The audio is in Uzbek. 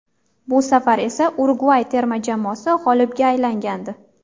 Bu safar esa Urugvay terma jamoasi g‘olibga aylangandi.